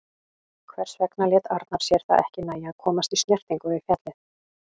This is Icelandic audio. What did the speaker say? Hvers vegna lét Arnar sér það ekki nægja að komast í snertingu við fjallið?